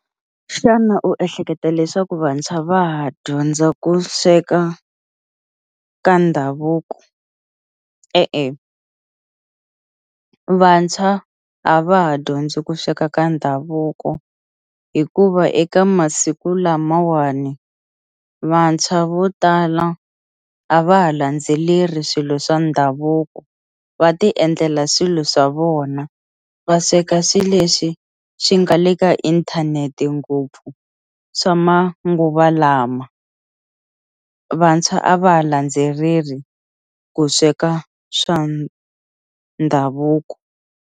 Xana u ehleketa leswaku vantshwa va ha dyondza ku sweka ka ndhavuko e-e, vantshwa a va ha dyondzi ku sweka ka ndhavuko hikuva eka masiku lamawani vantshwa vo tala a va ha landzeleli swilo swa ndhavuko va ti endlela swilo swa vona va sweka swilo leswi swi nga le ka inthanete ngopfu swa manguva lama vantshwa a va landzeleli ku sweka swa ndhavuko.